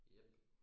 Jep